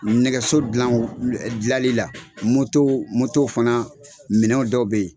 Nɛgɛso dilan dilali la, moto moto fana minɛ dɔw bɛ yen.